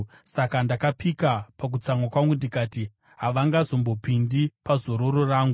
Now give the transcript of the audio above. Saka ndakapika pakutsamwa kwangu ndikati, “Havangazombopindi pazororo rangu.”